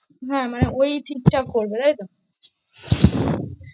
হ্যাঁ, মানে ওই ঠিকঠাক করবে তাই তো?